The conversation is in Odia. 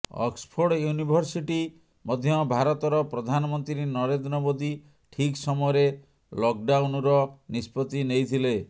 ଅକ୍ସଫୋର୍ଡ ୟୁନିଭରସିଟି ମଧ୍ୟ ଭାରତର ପ୍ରଧାନମନ୍ତ୍ରୀ ନରେନ୍ଦ୍ର ମୋଦି ଠିକ୍ ସମୟରେ ଲକଡାଉନର ନିଷ୍ପତି ନେଇଥିଲେ